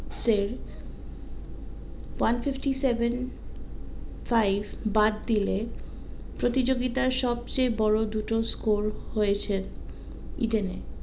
সে one fifty seven five বাদ দিলে প্রতিযোগিতার সব চেয়ে বড়ো দুটো score হয়েছে ইডেনে